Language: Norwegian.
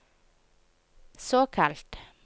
såkalt